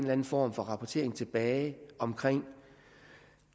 anden form for rapportering tilbage om